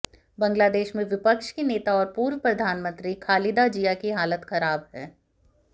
बांग्लादेेश में विपक्ष की नेता और पूर्व प्रधानमंत्री खालिदा जिया की हालत खराब है